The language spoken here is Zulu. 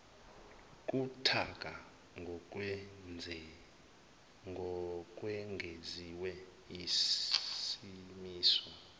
buthaka ngokwengeziwe isimiso